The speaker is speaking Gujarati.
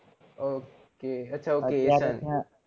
Ok આછા ok